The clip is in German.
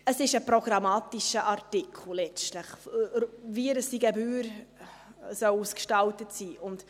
Es ist letztlich ein programmatischer Artikel, wie diese Gebühr ausgestaltet sein soll.